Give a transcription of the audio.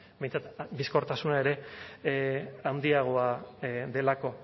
behintzat bizkortasuna ere handiagoa delako